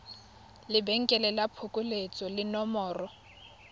lebenkele la phokoletso le nomoro